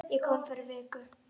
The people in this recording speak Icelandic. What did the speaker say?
Ég kom fyrir viku